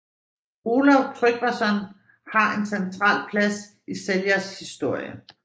Olav Tryggvason har en central plads i Seljas historie